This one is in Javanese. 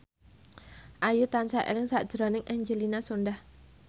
Ayu tansah eling sakjroning Angelina Sondakh